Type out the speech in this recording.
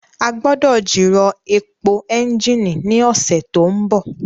A gbọ́dọ̀ jìrọ̀ èpò ẹ́ńjìnì ní ọ̀sẹ̀ tó ń bọ̀